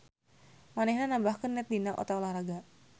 Manehna nambahkeun net dina eta olahraga.